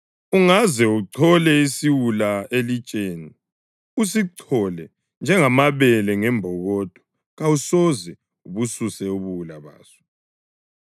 Ungaze uchole isiwula elitsheni, usichole njengamabele ngembokodo kawusoze ubususe ubuwula baso.